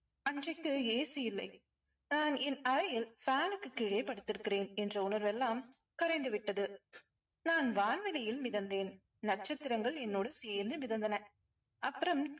அன்றைக்கு AC இல்லை. நான் என் அறையில் fan க்கு கீழே படுத்துருக்கிறேன் என்ற உணர்வெல்லாம் கரைந்து விட்டது. நான் வான்வளியில் மிதந்தேன். நட்சத்திரங்கள் என்னோடு சேர்ந்து மிதந்தன. அப்பறம்